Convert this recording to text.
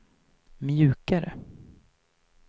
mjukare